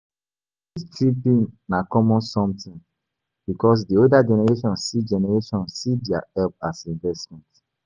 The guilt tripping na common something because di elder generation see their help as investment